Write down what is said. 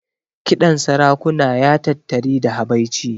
Kiɗan sarakuna ya tattari da habaici.